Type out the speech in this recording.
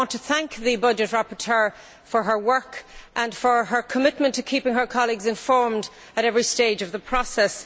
I want to thank the budget rapporteur for her work and for her commitment to keeping her colleagues informed at every stage of the process.